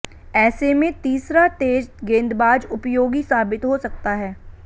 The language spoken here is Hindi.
ऐसे में तीसरा तेज गेंदबाज उपयोगी साबित हो सकता है